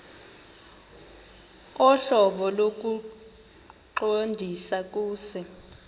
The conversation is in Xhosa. ohlobo lokuqondisa kuse